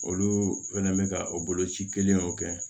Olu fɛnɛ bɛ ka o boloci kelen o kɛ